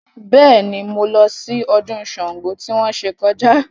Bẹ́ẹ̀ ni, mo lọ sí ọdún Ṣàngó tí wọ́n ṣe kọjá